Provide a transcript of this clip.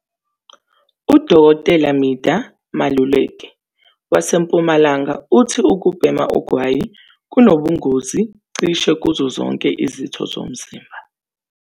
"UDkt Midah Maluleke waseMpumalanga uthi ukubhema ugwayi kunobungozi cishe kuzo zonke izitho zomzimba.